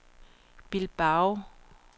Bilbao